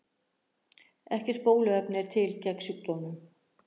Ekkert bóluefni er til gegn sjúkdómnum.